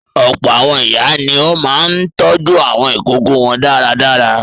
Ọ̀pọ̀ àwọn ìyá ni ó máa ń tọ́jú àwọn ìkókó wọn dáradára.